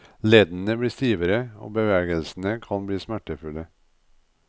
Leddene blir stivere og bevegelsene kan bli smertefulle.